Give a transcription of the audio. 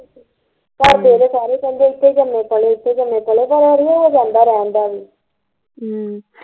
ਘਰਦੇ ਤੇ ਸਾਰੇ ਕਹਿੰਦੇ ਇੱਥੇ ਜਮੇ ਪਲੇ ਇੱਥੇ ਜਮੇ ਪਲੇ ਪਰ ਅੜੀਏ ਹੋ ਜਾਂਦਾ ਰਹਿਣ ਦਾ ਵੀ ਹਮ